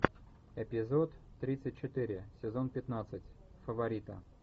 эпизод тридцать четыре сезон пятнадцать фаворита